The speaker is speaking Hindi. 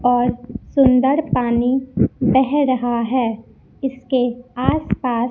और सुंदर पानी बह रहा है इसके आस पास--